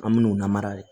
An min'u lamara de